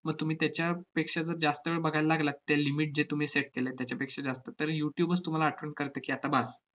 व तुम्ही त्याच्या~ पेक्षा जर जास्त वेळ बघायला लागलात त्या limit जे तुम्ही set केले त्याच्यापेक्षा जास्त, तर youtube च तुम्हाला आठवण करते की, आता बास.